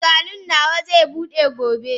Salon nawa zai bude gobe